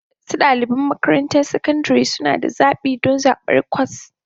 Wasu ɗaliban makarantar sakandare suna da zaɓi don zaɓar kwas